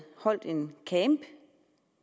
holdt en camp